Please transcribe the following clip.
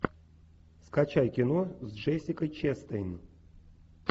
скачай кино с джессикой честейн